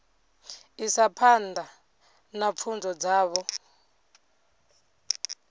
isa phanḓa na pfunzo dzavho